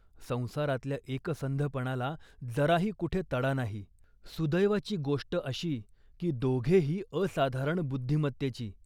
संसारातल्या एकसंधपणाला जराही कुठे तडा नाही. सुदैवाची गोष्ट अशी, की दोघेही असाधारण बुद्धिमत्तेची